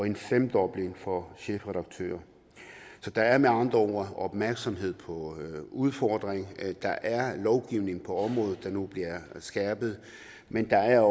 en femdobling for chefredaktører så der er med andre ord opmærksomhed på udfordringen og der er lovgivning på området der nu bliver skærpet men der er